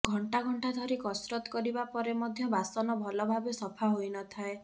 ଘଣ୍ଟା ଘଣ୍ଟା ଧରି କସରତ କରିବା ପରେ ମଧ୍ୟ ବାସନ ଭଲଭାବେ ସଫା ହୋଇନଥାଏ